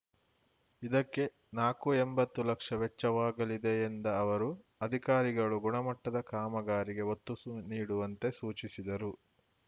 ಇದಕ್ಕೆ ನಾಕು ಎಂಬತ್ತು ಲಕ್ಷ ವೆಚ್ಚವಾಗಲಿದೆ ಎಂದ ಅವರು ಅಧಿಕಾರಿಗಳು ಗುಣಮಟ್ಟದ ಕಾಮಗಾರಿಗೆ ಒತ್ತು ಸು ನೀಡುವಂತೆ ಸೂಚಿಸಿದರು